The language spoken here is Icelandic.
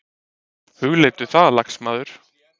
Hugleiddu það, lagsmaður!